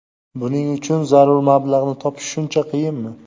Buning uchun zarur mablag‘ni topish shuncha qiyinmi?